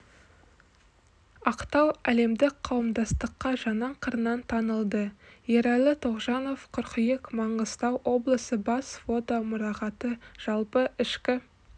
ақтау әлемдік қауымдастыққа жаңа қырынан танылды ералы тоғжанов қыркүйек маңғыстау облысы бас фото мұрағаты жалпы ішкі